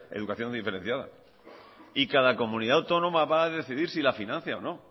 educación diferenciada y cada comunidad autónoma va a decidir si la financia o no